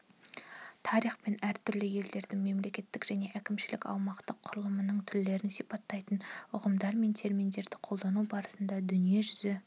тарихпен әртүрлі елдердің мемлекеттік және әкімшілік-аумақтық құрылымының түрлерін сипаттайтын ұғымдар мен терминдерді қолдану барысында дүниежүзі